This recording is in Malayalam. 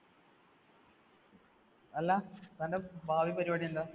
അല്ല, തന്‍ടെ ഭാവി പരിപാടി എന്താ?